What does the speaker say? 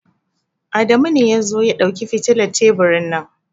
Adamu ne ya zo ya dauki fitilar teburin nan.